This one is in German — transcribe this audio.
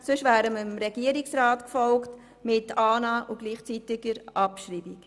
Sonst wären wir dem Regierungsrat gefolgt im Sinne der Annahme und gleichzeitigen Abschreibung.